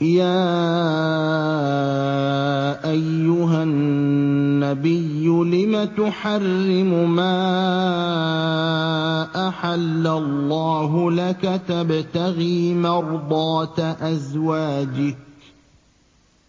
يَا أَيُّهَا النَّبِيُّ لِمَ تُحَرِّمُ مَا أَحَلَّ اللَّهُ لَكَ ۖ تَبْتَغِي مَرْضَاتَ أَزْوَاجِكَ ۚ